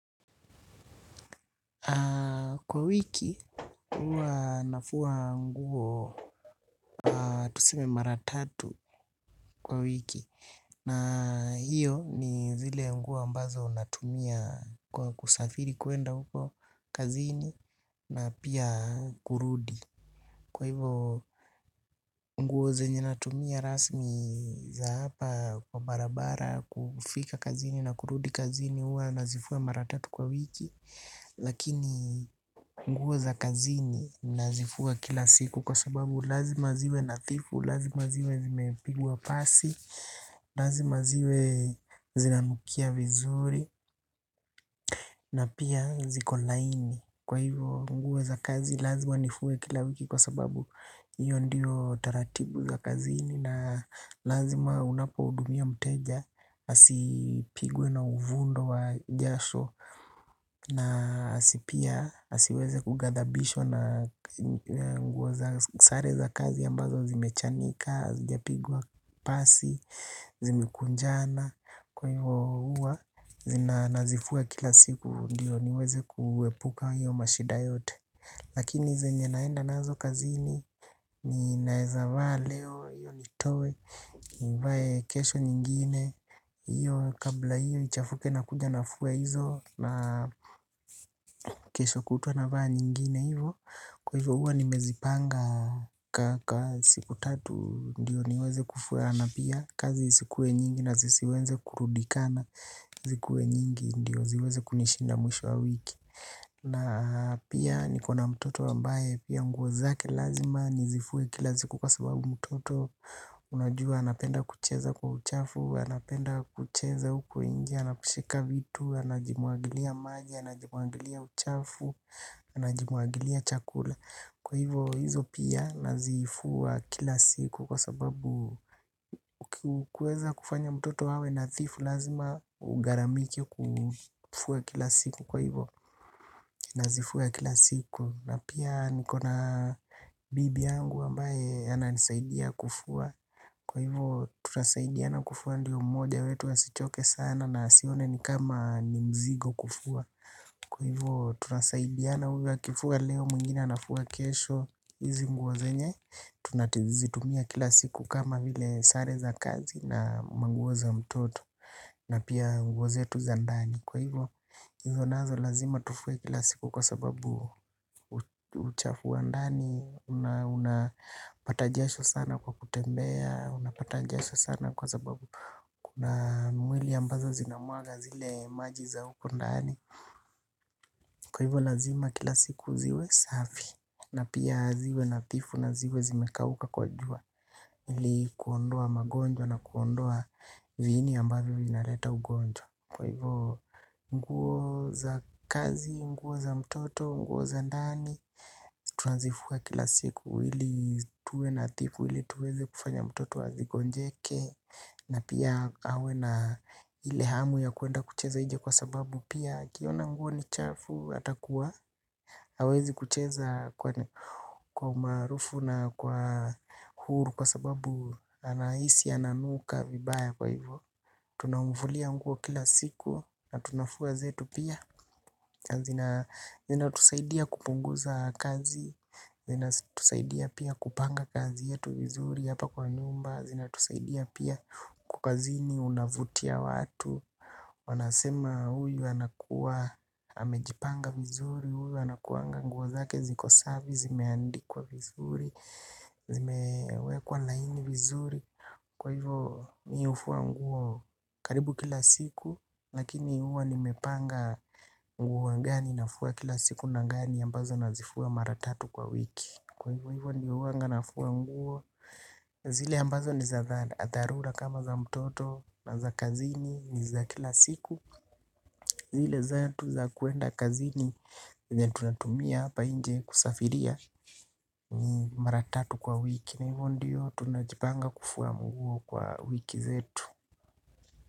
Kwa wiki, huwa nafua nguo tuseme mara tatu kwa wiki. Na hiyo ni zile nguo ambazo natumiabkwa kusafiri kuenda huko kazini na pia kurudi. Kwa hivyo nguo zenye natumia rasmi za hapa kwa barabara, kufika kazini na kurudi kazini huwa nazifua mara tatu kwa wiki. Lakini nguo za kazini nazifua kila siku kwa sababu lazima ziwe nadhifu, lazima ziwe zimepigwa pasi. Lazima ziwe zinanukia vizuri. Na pia ziko laini. Kwa hivo nadhifu za kazi lazima nifua kila wiki kwa sababu hiyo ndio taratibu za kazini. Na lazima unapohudumia mteja asipigwe na uvundo wa jasho. Na asi pia, asiweze kugadhabishwa na nguo za sare za kazi ambazo zimechanika, hazijapigwa pasi, zimekunjana. Kwa hivo huwa nazifua kila siku ndio niweze kuepuka hiyo mashida yote. Lakini zenye naenda nazo kazini, ninaweza vaa leo, hio nitoe, nivae kesho nyingine hio kabla hio ichafuke nakuja nafua hizo na kesho kutwa navaa nyingine, hivo, kwa hivyo huwa nimezipanga kwa siku tatu ndio niweze kufua na pia kazi isikue nyingi na zisiweze kurundikana. Zikuwe nyingi ndio ziweze kunishinda mwisho wa wiki. Na pia nikona mtoto ambaye pia nguo zake lazima nizifue kila siku kwa sababu mtoto unajua anapenda kucheza kwa uchafu, anapenda kucheza huko nje, anaposhika vitu, anajimwagilia maji, anajimwagilia uchafu, anajimwagilia chakula. Kwa hivyo hizo pia nazifua kila siku kwa sababu kueza kufanya mtoto awe nadhifu lazima ugharamike kufua kila siku. Kwa hivo nazifua kila siku na pia nikona bibi yangu ambaye ananisaidia kufua. Kwa hivyo tunasaidiana kufua ndio mmoja wetu asichoke sana asione ni kama ni mzigo kufua. Kwa hivyo tunasaidiana huyu akifua leo mwingine anafua kesho hizi nguo zenye tunazitumia kila siku kama vile sare za kazi na manguo za mtoto na pia nguo zetu za ndani. Kwa hivyo hizo nazo lazima tufue kila siku kwa sababu uchafu wa ndani unapata jasho sana kwa kutembea. Unapata jasho sana kwa sababu kuna mwili ambazo zinamwaga zile maji za huko ndani. Kwa hivo lazima kila siku ziwe safi. Na pia ziwe nadhifu na ziwe zimekauka kwa jua ili kuondoa magonjwa na kuondoa viini ambavyo vinaleta ugonjwa. Kwa hivo nguo za kazi, nguo za mtoto, nguo za ndani tuanzifua kila siku. Hili tuwe nadhifu ili tuweze kufanya mtoto asigonjeke na pia awe na ile hamu ya kuenda kucheza nje kwa sababu pia akiona nguo ni chafu atakuwa hawezi kucheza kwa umaarufu na kwa huru kwa sababu anahisi ananuka vibaya. Kwa hivyo tunamfulia nguo kila siku na tunafua zetu pia. Zinatusaidia kupunguza kazi. Zinatusaidia pia kupanga kazi yetu vizuri hapa kwa nyumba. Zinatusaidia pia kwa kazini unavutia watu. Wanasema huyu anakuwa amejipanga vizuri. Huyu anakuanga nguo zake ziko safi, zimeandikwa vizuri. Zimewekwa laini vizuri. Kwa hivyo mimi hufua nguo karibu kila siku. Lakini huwa nimepanga nguo gani nafua kila siku na gani ambazo nazifua mara tatu kwa wiki. Kwa hivyo hivyo ndio huanga nafua nguo zile ambazo ni za dharura kama za mtoto na za kazini ni za kila siku zile zetu za kwenda kazini, yenye tunatumia hapa nje kusafiria ni mara tatu kwa wiki na hivyo ndio tunajipanga kufua nguo kwa wiki zetu.